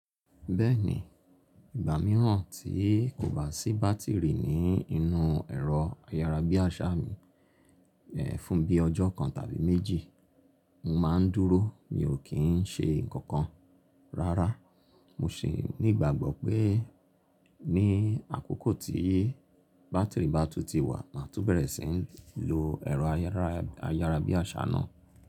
Bẹ́ẹ̀ni, ìgbà mìíràn tí kò bá sí bátìrì ní inú ẹ̀rọ ayárabíàṣá mi, fún bí i ọjọ́ kan tàbí méjì, mo má a dúró mi ò kí n ṣe nǹkan kan rárá. Mo sì ní ìgbàgbọ́ pé ní àkókò tí bátìrì bá tu ti wà, máa tú bẹ̀rẹ̀ sí í lo ẹ̀rọ ayárabíàṣá náà.